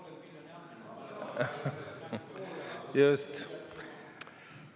Just!